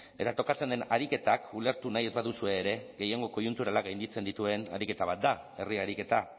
eta tokatzen den ariketak ulertu nahi ez baduzue ere gehiengo koiunturalak gainditzen dituen ariketa bat da herri ariketa